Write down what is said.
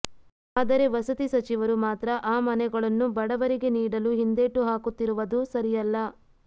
ಆದರೆ ವಸತಿ ಸಚಿವರು ಮಾತ್ರ ಆ ಮನೆಗಳನ್ನು ಬಡವರಿಗೆ ನೀಡಲು ಹಿಂದೇಟ್ಟು ಹಾಕುತ್ತಿರುವದು ಸರಿಯಲ್ಲ